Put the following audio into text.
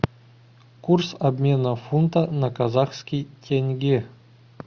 курс обмена фунта на казахский тенге